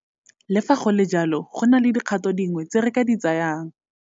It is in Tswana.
Le fa go le jalo, go na le dikgato dingwe tse re ka di tsayang.